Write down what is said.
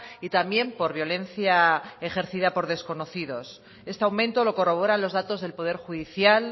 y también por violencia ejercida por desconocidos este aumento lo corroboran los datos del poder judicial